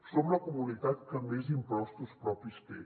som la comunitat que més impostos propis té